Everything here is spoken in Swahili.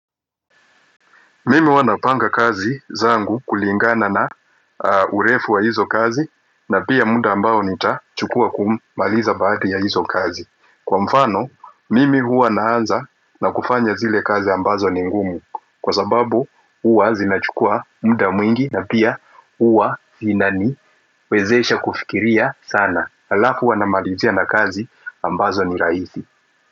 Mimi huwa napanga kazi zangu kulingana na urefu wa hizo kazi na pia muda ambao nitachukua kumaliza baadhi ya hizo kazi. Kwa mfano, mimi huwa naanza na kufanya zile kazi ambazo ni ngumu, Kwa sababu huwa zinachukua muda mwingi na pia huwa zinani wezesha kufikiria sana. Halafu huwa namalizia na kazi ambazo ni rahisi.